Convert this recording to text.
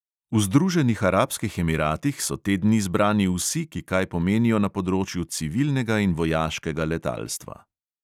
V združenih arabskih emiratih so te dni zbrani vsi, ki kaj pomenijo na področju civilnega in vojaškega letalstva.